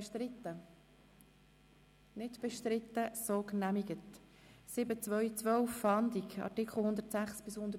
Sie haben den Antrag SiK-Mehrheit/Regierungsrat angenommen mit 73 Ja- gegen 40 Nein-Stimmen